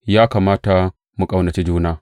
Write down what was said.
Ya kamata mu ƙaunaci juna.